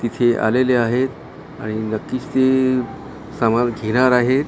तिथे आलेले आहेत आणि नक्किच ते समान घेनार आहेत .